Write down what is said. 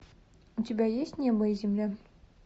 у тебя есть небо и земля